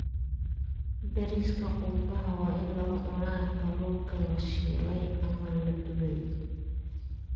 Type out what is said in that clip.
Bariiska qumbaha waa in lagu cunaa kalluunka la shiilay ama la dubay.